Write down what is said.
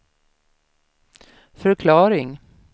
förklaring